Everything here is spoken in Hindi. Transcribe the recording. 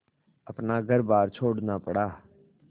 अपना घरबार छोड़ना पड़ा